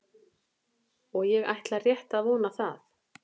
Og ég ætla rétt að vona það.